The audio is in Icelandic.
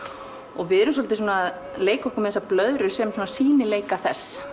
og við erum svolítið að leika okkur með þessar blöðrur sem sýnileika þess